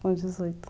Com dezoito.